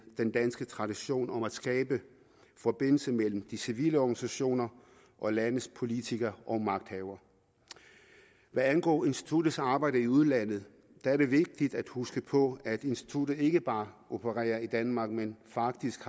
den danske tradition om at skabe forbindelse mellem de civile organisationer og landets politikere og magthavere hvad angår instituttets arbejde i udlandet er det vigtigt at huske på at instituttet ikke bare opererer i danmark men faktisk